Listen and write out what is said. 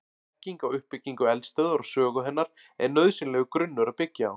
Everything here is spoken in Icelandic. Þekking á uppbyggingu eldstöðvar og sögu hennar er nauðsynlegur grunnur að byggja á.